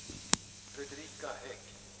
Fredrika Hägg